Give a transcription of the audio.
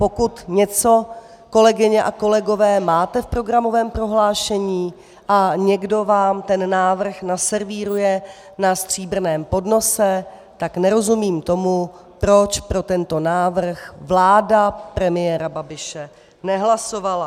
Pokud něco, kolegyně a kolegové, máte v programovém prohlášení a někdo vám ten návrh naservíruje na stříbrném podnose, tak nerozumím tomu, proč pro tento návrh vláda premiéra Babiše nehlasovala.